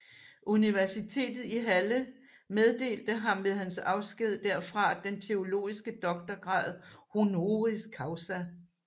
Universitetet i Halle meddelte ham ved hans afsked derfra den teologiske doktorgrad honoris causa